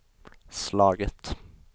slagit